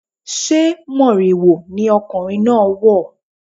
Sé moriwo ni arákùnrin náà wọ̀?